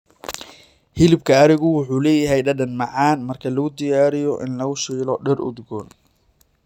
Hilibka arigu wuxuu leeyahay dhadhan macaan marka lagu diyaariyo in lagu shiilo dhir udgoon.